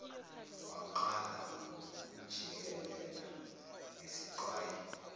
wamqala ngokumjikijela ngesiqwayi